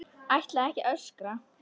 Ætla ekki að öskra.